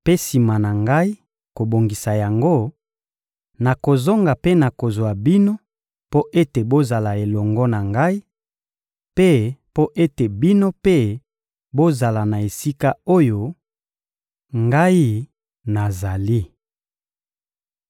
Mpe, sima na Ngai kobongisa yango, nakozonga mpe nakozwa bino mpo ete bozala elongo na Ngai; mpe mpo ete bino mpe bozala na esika oyo Ngai nazali.